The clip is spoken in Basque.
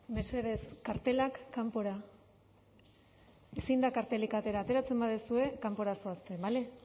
mesedez kartelak kanpora ezin da kartelik atera ateratzen baduzue kanpora zoazte bale